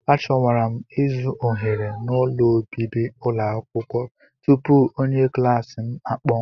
A chọwara m ịzụ ohere n'ụlọ obibi ụlọ akwụkwọ tupu onye klaasị m akpọọ m.